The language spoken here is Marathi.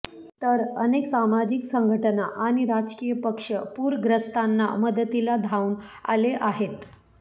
तर अनेक सामाजिक संघटना आणि राजकीय पक्ष पूरग्रस्तांना मदतीला धावून आले आहेत